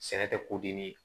Sɛnɛ tɛ ko dimi